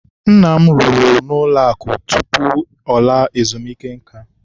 Nna m rụrụ n'ụlọakụ tutu ọ laa ezumuike nka